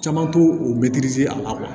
Caman t'o a la